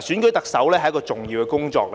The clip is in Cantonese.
選舉特首是一項重要工作，